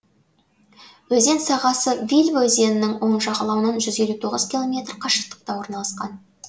өзен сағасы вильва өзенінің оң жағалауынан жүз елу тоғыз километр қашықтықта орналасқан